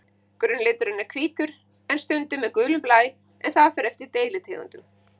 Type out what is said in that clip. Grunnliturinn er hvítur en stundum með gulum blæ, en það fer eftir deilitegundum.